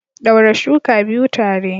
Daure shuka biyu tare.